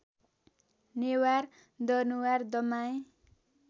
Newar Danuwar Damai